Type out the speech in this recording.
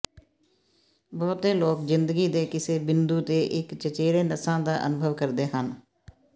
ਬਹੁਤੇ ਲੋਕ ਜ਼ਿੰਦਗੀ ਦੇ ਕਿਸੇ ਬਿੰਦੂ ਤੇ ਇੱਕ ਚਚੇਰੇ ਨਸਾਂ ਦਾ ਅਨੁਭਵ ਕਰਦੇ ਹਨ